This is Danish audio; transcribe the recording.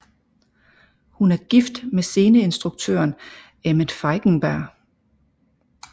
Hun er gift med sceneinstruktøren Emmet Feigenberg